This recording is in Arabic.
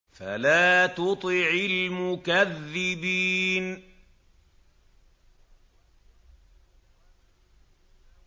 فَلَا تُطِعِ الْمُكَذِّبِينَ